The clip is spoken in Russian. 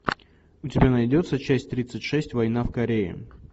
у тебя найдется часть тридцать шесть война в корее